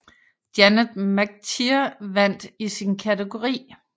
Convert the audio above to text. Janet McTeer vandt i sin kategori